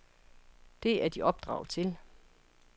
Det er de opdraget til.